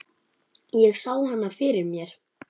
Ég sá hana fyrir mér.